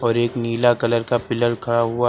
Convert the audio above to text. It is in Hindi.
और एक नीला कलर का पिलर खड़ा हुआ--